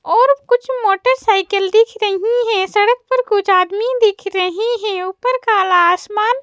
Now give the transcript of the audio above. और कुछ मोटरसाइकिल दिख रही है सड़क पर कुछ आदमी दिख रहे हैं ऊपर काला आसमान--